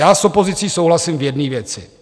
Já s opozicí souhlasím v jedné věci.